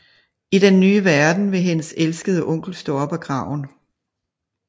I den nye verden vil hendes elskede onkel stå op af graven